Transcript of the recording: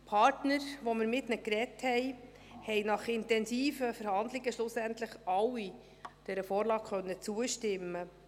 Die Partner, mit denen wir geredet haben, konnten nach intensiven Verhandlungen schlussendlich alle dieser Vorlage zustimmen.